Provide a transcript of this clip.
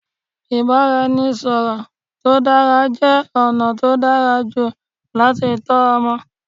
Ìbáraẹnisọ̀rọ̀ tó dára jẹ́ ọ̀nà tó dára jù láti tọ́ ọmọ.